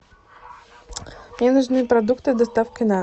мне нужны продукты с доставкой на дом